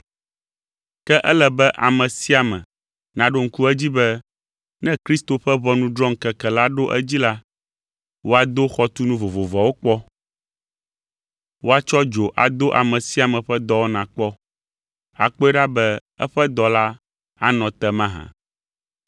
Ke ele be ame sia ame naɖo ŋku edzi be ne Kristo ƒe ʋɔnudrɔ̃ŋkeke la ɖo edzi la, woado xɔtunu vovovoawo kpɔ. Woatsɔ dzo ado ame sia ame ƒe dɔwɔna kpɔ, akpɔe ɖa be eƒe dɔ la anɔ te mahã?